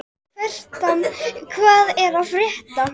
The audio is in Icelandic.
Fertram, hvað er að frétta?